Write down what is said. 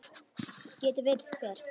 Geti verið hver?